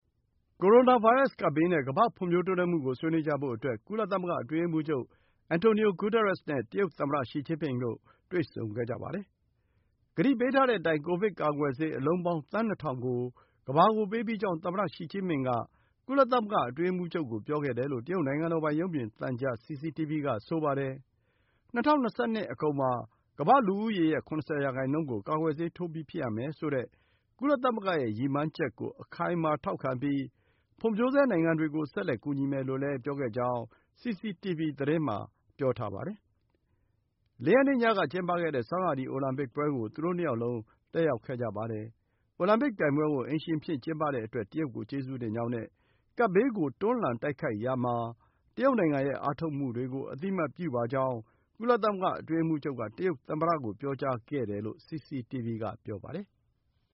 ကိုရိုနာဗိုင်းရပ်စ် ကပ်ဘေးနဲ့ ကမ္ဘာ့ဖွံ့ဖြိုးတိုးတက်မှုကို ဆွေးနွေးကြဖို့အတွက် ကုလသမဂ္ဂ အတွင်းရေးမှူးချုပ် Antonio Guterres နဲ့ တရုတ်သမ္မတ Xi Jinping တို့ တွေ့ဆုံခဲ့ကြပါတယ်။ ကတိပေးထားတဲ့အတိုင်း ကိုဗစ်ကာကွယ်ဆေး အလုံးပေါင်း သန်း ၂,၀၀၀ ကို ကမ္ဘာကို ပေးပြီးကြောင်း သမ္မတ Xi Jinping က ကုလသမဂ္ဂ အတွင်းရေးမှူးချုပ်ကို ပြောခဲ့တယ်လို့ တရုတ် နိုင်ငံတော်ပိုင် ရုပ်မြင်သံကြား CCTV က ဆိုပါတယ်။ ၂၀၂၂ အကုန်မှာ ကမ္ဘာ့လူဦးရေရဲ့ ၇၀ ရာခိုင်နှုန်းကို ကာကွယ်ဆေးထိုးပြီး ဖြစ်ရမယ်ဆိုတဲ့ ကုလသမဂ္ဂရဲ့ ရည်မှန်းချက်ကို အခိုင်အမာ ထောက်ခံပြီး ဖွံ့ဖြိုးဆဲနိုင်ငံတွေကို ဆက်လက်ကူညီမယ်လို့လည်း ပြောခဲ့ကြောင်း CCTV သတင်းမှာ ပြောထားပါတယ်။ ၄ ရက်နေ့ညက ကျင်းပခဲ့တဲ့ ဆောင်းရာသီ အိုလံပစ်ပွဲကို သူတို့ ၂ ယောက်လုံး တက်ရောက်ခဲ့ကြပါတယ်။ အိုလံပစ်ပြိုင်ပွဲကို အိမ်ရှင်အဖြစ် ကျင်းပတဲ့အတွက် တရုတ်ကို ကျေးဇူးတင်ကြောင်းနဲ့ ကပ်ဘေးကို တွန်းလှန်တိုက်ခိုက်ရာမှာ တရုတ်နိုင်ငံရဲ့ အားထုတ်မှုတွေကို အသိအမှတ်ပြုပါကြောင်း ကုလသမဂ္ဂ အတွင်းရေးမှူးချုပ်က တရုတ်သမ္မတကို ပြောကြားခဲ့တယ်လို့ CCTV က ဆိုပါတယ်။